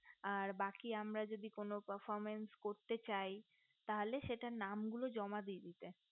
আর বাকি আমরা যদি profimass কোনো করতে চাই তাহলে সেটার নামগুলো জমা দিয়ে দিতে